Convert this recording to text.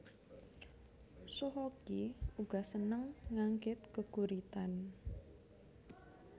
Soe Hok Gie uga sêneng nganggit gêguritan